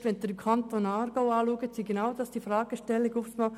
Mit Blick auf den Kanton Aargau sind plötzlich genau das die Fragestellungen: